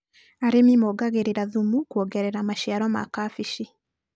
Arĩmi mongagĩrĩra thumu kwongerera maciaro ma kabeci.